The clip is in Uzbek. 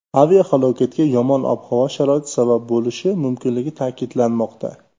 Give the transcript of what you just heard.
Aviahalokatga yomon ob-havo sharoiti sabab bo‘lishi mumkinligi ta’kidlanmoqda.